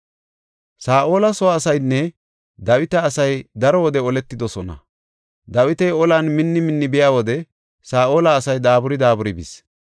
Saa7ola soo asaynne Dawita asay daro wode oletidosona; Dawiti olan minni minni biya wode Saa7ola asay daaburi daaburi bis.